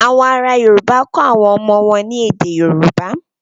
Àwọn ará Yorùbá kọ́ àwọn ọmọ wọn ní èdè Yorùbá.